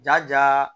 Ja ja